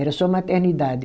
Era só maternidade.